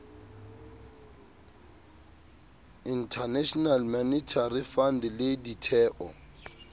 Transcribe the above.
international monetary fund le ditheo